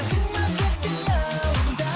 қалдың ба тек қиялымда